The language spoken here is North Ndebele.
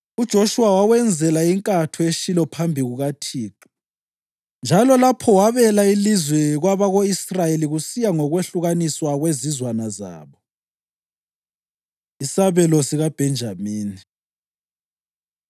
UJoshuwa wawenzela inkatho eShilo phambi kukaThixo, njalo lapho wabela ilizwe kwabako-Israyeli kusiya ngokwehlukaniswa kwezizwana zabo. Isabelo SikaBhenjamini